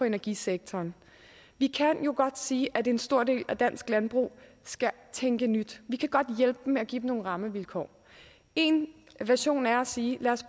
energisektoren vi kan jo godt sige at en stor del af dansk landbrug skal tænke nyt vi kan godt hjælpe dem med at give dem nogle rammevilkår en version er at sige lad os